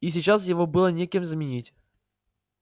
и сейчас его было некем заменить